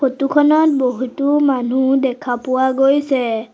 Photo খনত বহুতো মানুহ দেখা পোৱা গৈছে।